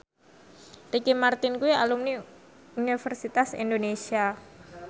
Ricky Martin kuwi alumni Universitas Indonesia